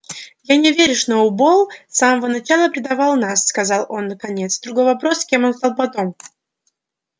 я не верю сноуболл с самого начала предавал нас сказал он наконец другой вопрос кем он стал потом